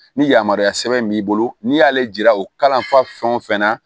Ni yamaruya sɛbɛn b'i bolo n'i y'ale jira o kalan fɛn o fɛn na